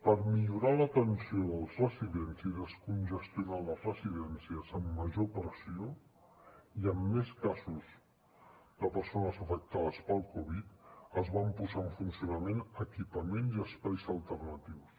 per millorar l’atenció dels residents i descongestionar les residències amb major pressió i amb més casos de persones afectades pel covid dinou es van posar en funcionament equipaments i espais alternatius